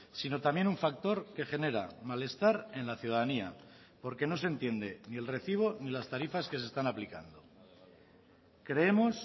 sino también un factor que genera malestar en la ciudadanía porque no se entiende ni el recibo ni las tarifas que se están aplicando creemos